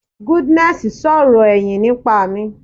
Goodness sọ̀rọ̀ ẹ̀yìn nípa mi.